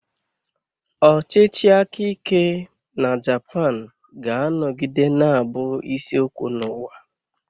Ọchịchị aka ike na Japan ga-anọgide na-abụ isi okwu n'ụwa.